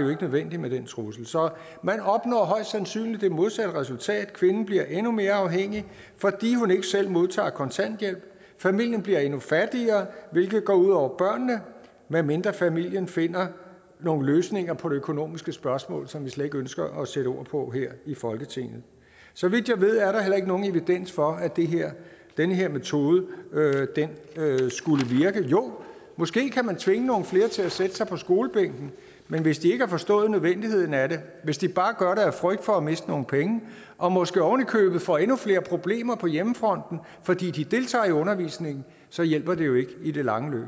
jo ikke nødvendigt med den trussel så man opnår højst sandsynligt det modsatte resultat kvinden bliver endnu mere afhængig fordi hun ikke selv modtager kontanthjælp familien bliver endnu fattigere hvilket går ud over børnene medmindre familien finder nogle løsninger på det økonomiske spørgsmål som vi slet ikke ønsker at sætte ord på her i folketinget så vidt jeg ved er der heller ikke nogen evidens for at den her metode skulle virke jo måske kan man tvinge nogle flere til at sætte sig på skolebænken men hvis de ikke har forstået nødvendigheden af det hvis de bare gør det af frygt for at miste nogle penge og måske oven i købet får endnu flere problemer på hjemmefronten fordi de deltager i undervisningen så hjælper det jo ikke i det lange løb